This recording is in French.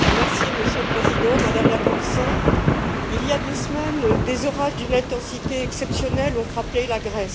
Monsieur le Président, Madame la Commissaire, il y a deux semaines, des orages d'une intensité exceptionnelle ont frappé la Grèce.